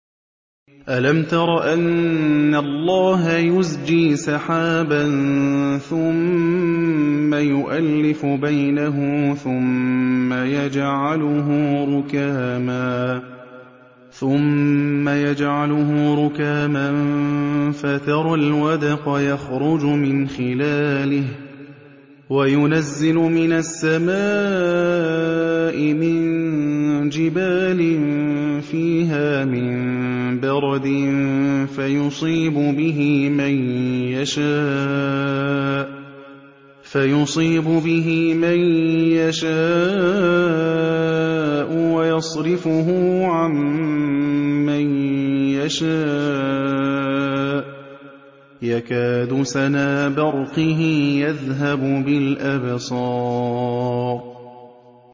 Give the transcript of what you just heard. أَلَمْ تَرَ أَنَّ اللَّهَ يُزْجِي سَحَابًا ثُمَّ يُؤَلِّفُ بَيْنَهُ ثُمَّ يَجْعَلُهُ رُكَامًا فَتَرَى الْوَدْقَ يَخْرُجُ مِنْ خِلَالِهِ وَيُنَزِّلُ مِنَ السَّمَاءِ مِن جِبَالٍ فِيهَا مِن بَرَدٍ فَيُصِيبُ بِهِ مَن يَشَاءُ وَيَصْرِفُهُ عَن مَّن يَشَاءُ ۖ يَكَادُ سَنَا بَرْقِهِ يَذْهَبُ بِالْأَبْصَارِ